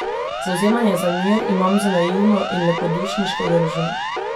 Zavzemanje za mir imam za naivno in lepodušniško držo.